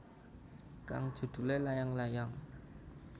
Kang judulé Layang Layang